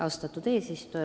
Austatud eesistuja!